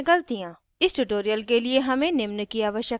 इस ट्यूटोरियल के लिए हमें निम्न की आवश्यकता है